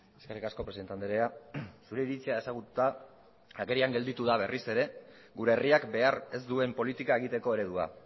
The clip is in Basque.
eskerrik asko presidente andrea zure iritzia ezagututa agerian geratu da berriz ere gure herriak behar ez duen politika egiteko eredua